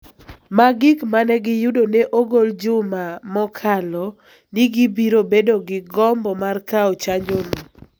ma gik ma ne giyudo ne ogol juma mokalo ni gibiro bedo gi gombo mar kawo chanjono.